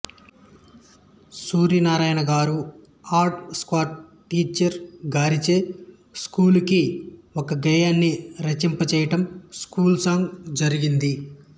సూర్యనారాయణ గారు art scout teacher గారిచే స్కూలుకి ఒక గేయాన్ని రచింప చేయటం స్కూల్ సాంగ్ జరిగింది